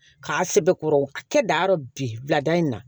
K'a sɛbɛkɔrɔ kɛ dayɔrɔ bi bilada in na